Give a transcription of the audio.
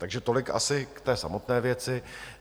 Takže tolik asi k té samotné věci.